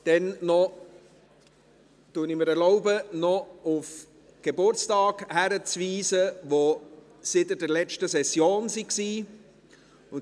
Ich erlaube mir noch auf die Geburtstage hinzuweisen, die seit der letzten Session waren.